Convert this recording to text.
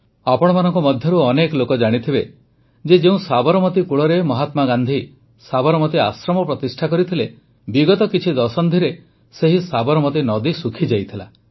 ଆପଣମାନଙ୍କ ମଧ୍ୟରୁ ଅନେକ ଲୋକ ଜାଣିଥିବେ ଯେ ଯେଉଁ ସାବରମତୀ କୂଳରେ ମହାତ୍ମାଗାନ୍ଧି ସାବରମତୀ ଆଶ୍ରମ ପ୍ରତିଷ୍ଠା କରିଥିଲେ ବିଗତ କିଛି ଦଶନ୍ଧିରେ ସେହି ସାବରମତୀ ନଦୀ ଶୁଖିଯାଇଥିଲା